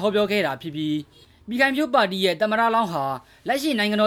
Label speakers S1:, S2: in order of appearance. S1: ဟောပြောခဲ့ပါတယ်။ အဲဒီမှာ ပြည်ခိုင်ဖြိုးပါတီရဲ့ သမ္မတလောင်းဟာ နိုင်ငံတော